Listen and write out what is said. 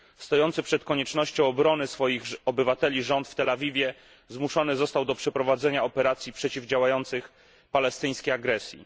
Stojący przed koniecznością obrony swoich obywateli rząd w Tel Awiwie zmuszony został do przeprowadzenia operacji przeciwdziałających palestyńskiej agresji.